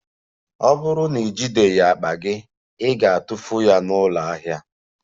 Ọ bụrụ na ijideghị akpa gị, ị ga-atụfu ya na ụlọ ahịa a